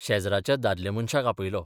शेजराच्या दादल्या मनशाक आपयलो.